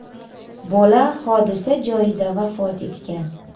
Bola hodisa joyida vafot etgan .